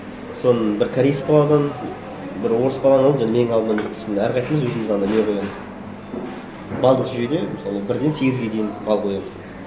соны бір кореец баладан бір орыс баладан және менің алдымнан өтті сосын әрқайсымыз өзіміз андай не қоямыз балдық жүйеде мысалы бірден сегізге дейін балл қоямыз